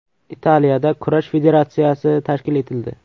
Italiyada kurash federatsiyasi tashkil etildi.